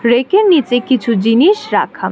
বেইকের নীচে কিছু জিনিস রাখা।